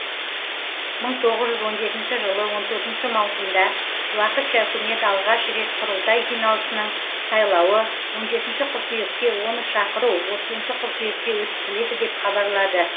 мың тоғыз жүз он жетінші жылы он төртінші маусымда уақытша үкімет алғаш рет құрылтай жиналысының сайлауы он жетінші қыркүйекте оны шақыру отызыншы қыркүйекте өткізіледі деп хабарлады